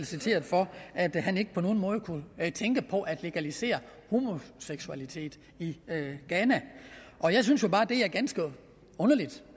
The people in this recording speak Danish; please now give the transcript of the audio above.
citeret for at han ikke på nogen måde kunne tænke på at legalisere homoseksualitet i ghana jeg synes jo bare det er ganske underligt